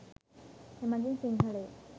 එමගින් සිංහලයෝ